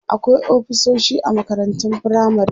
akwai ofisoshi a makarantun firamare